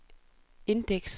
indeks